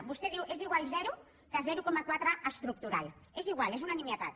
vostè diu és igual zero que zero coma quatre estructural és igual és una nimietat